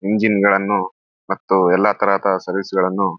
ಇಂಜಿನ್‌ಗಳನ್ನು ಮತ್ತು ಎಲ್ಲಾ ತರದ ಸರ್ವಿಸ್‌ಗಳನ್ನು --